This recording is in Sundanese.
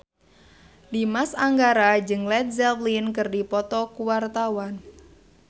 Dimas Anggara jeung Led Zeppelin keur dipoto ku wartawan